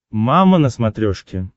мама на смотрешке